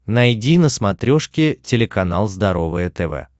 найди на смотрешке телеканал здоровое тв